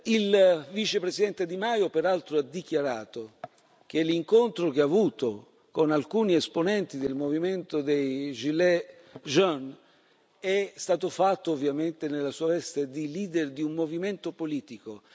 Il Vicepresidente Di Maio, peraltro, ha dichiarato che l'incontro che ha avuto con alcuni esponenti del movimento dei gilets jaunes è stato fatto, ovviamente, nella sua veste di leader di un movimento politico.